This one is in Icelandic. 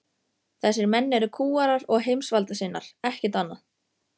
Þessir menn eru kúgarar og heimsvaldasinnar, ekkert annað.